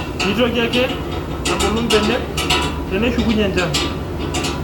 Nitoki ake abulu ibenek teneshukunye ensha